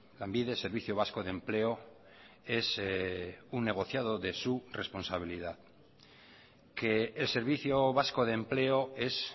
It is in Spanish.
lanbide servicio vasco de empleo es un negociado de su responsabilidad que el servicio vasco de empleo es